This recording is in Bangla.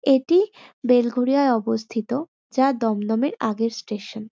এটি বেলঘরিয়ায় অবস্থিত যা দদমদমের আগের স্টেশন ।